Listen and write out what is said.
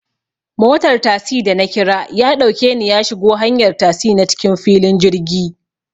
Motar tasi da nakira yaɗauke ni yashigo hanyar tasi na cikin filin jirgi